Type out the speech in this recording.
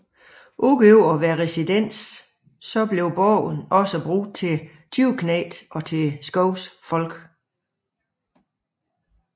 Ud over at være residens blev borgen også brugt til tyveknægte og til skovens folk